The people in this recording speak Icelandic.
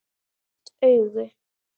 Lukt augu